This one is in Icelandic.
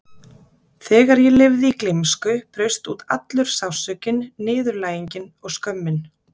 Þegar ég lifði í gleymsku braust út allur sársaukinn, niðurlægingin og skömmin.